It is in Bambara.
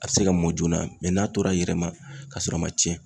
A bɛ se ka mɔ joona, mɛ n'a tora a yɛrɛ ma k'a sɔrɔ a ma tiɲɛn.